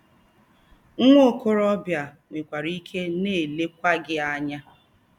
Nwa okorobịa a nwekwara ike na-elekwa gị anya!